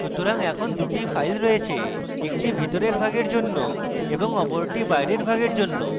সুতরাং এখন 2 the files রয়েছে একটি ভিতরের ভাগের জন্য এক এবং অপরটি বাইরের ভাগের জন্য